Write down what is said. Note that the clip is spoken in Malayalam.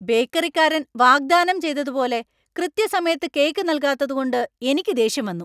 ബേക്കറിക്കാരൻ വാഗ്ദാനം ചെയ്തതുപോലെ കൃത്യസമയത്ത് കേക്ക് നൽകാത്തതുകൊണ്ട് എനിക്ക് ദേഷ്യം വന്നു.